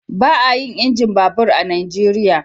Ba a yin injin babur a Najeriya.